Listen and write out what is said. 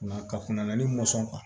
Ka kunna ni mɔnsɔn kan